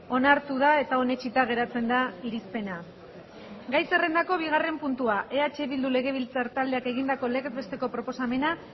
onartu da eta onetsita geratzen da irizpena gai zerrendako bigarren puntua eh bildu legebiltzar taldeak egindako legez besteko proposamena